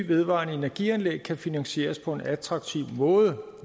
vedvarende energianlæg kan finansieres på en attraktiv måde